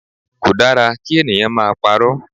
Kò dára kí ènìyàn máa parọ́.